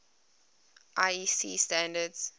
iec standards